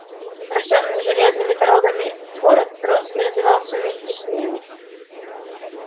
рождённый железными дорогами город рос и развивался вместе с ними